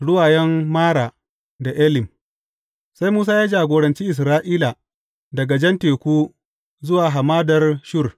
Ruwayen Mara da Elim Sai Musa ya jagoranci Isra’ila daga jan teku zuwa hamadar Shur.